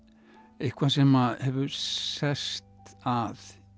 eitthvað sem hefur sest að